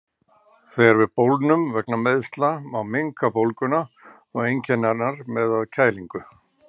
Þegar við bólgnum vegna meiðsla má minnka bólguna og einkenni hennar með að kælingu.